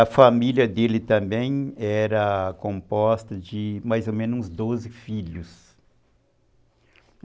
A família dele também era composta de mais ou menos uns doze filhos.